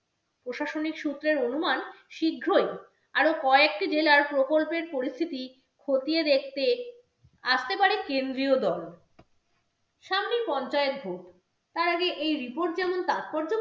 প্রশাসনিক সূত্রের অনুমান, শীঘ্রই আরো কয়েকটি জেলার প্রকল্পের পরিস্থিতি খতিয়ে দেখতে আসতে পারে কেন্দ্রীয় দল সামনেই পঞ্চায়েত vote তার আগে এই report যেমন তাৎপর্যপূর্ণ